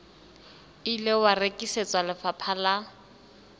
ile wa rekisetswa lefapha la